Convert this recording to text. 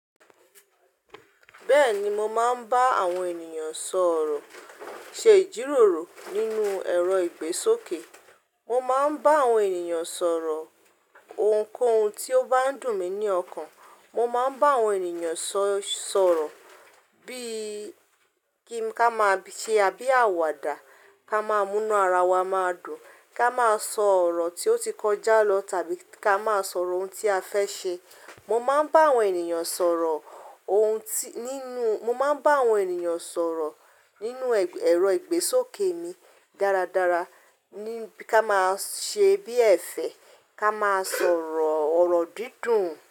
Bẹ́ẹ̀ni mo máa ń bá àwọn ènìyàn sọ̀rọ̀ ṣe ìjíròrò nínú ẹ̀rọ ìgbésókè. Mo máa ń bá àwọn ènìyàn sọ̀rọ̀ ohunkóhun tí ó bá n dùn mí ní ọkàn. Mo máa ń bá àwọn ènìyàn sọ̀rọ̀ bí i kí n ká máa ṣe àbí àwàdà ká máa múnú ara wa máa dùn, ká máa sọ ọ̀rọ̀ tí ó ti kọjá lọ tàbí ká máa sọ̀rọ̀ ohun tí a fẹ́ ṣe. Mo máa ń bá àwọn ènìyàn sọ̀rọ̀ ohun tí nínú, mo máa ń bá àwọn ènìyàn sọ̀rọ̀ nínú ẹ̀rọ ìgbésókè mi dáradára ní ká máa ṣe bí ẹ̀fẹ̀ ká máa sọ̀rọ̀ ọ̀rọ̀ dídùn.